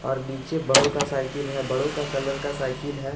और नीचे बड़ों का साईकिल है। बड़ों का कलर का साईकिल है।